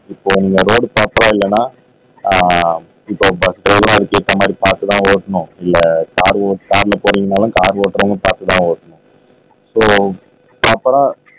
இப்போ மறுபடியும் பிராப்பரா இல்லைன்னா ஆஹ் இப்ப பஸ் டிரைவரா இருக்க கண்ணாடி பார்த்துதான் ஓட்டனும் இல்ல கார் ஓட்டுரா கார்ல போறீங்கனாலும் கார் ஓட்றவங்க பார்த்துதான் ஓட்டனும் இப்போ பிராப்பரா